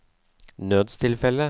nødstilfelle